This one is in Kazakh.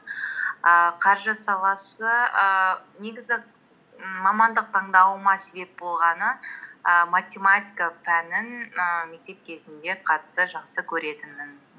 ііі қаржы саласы ііі негізі мамандық таңдауыма себеп болғаны і математика пәнін і мектеп кезінде қатты жақсы көретінмін